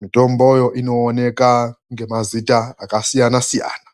.MITOMBOYO INOONEKA NEMAZITA AKASIYANA SIYANA.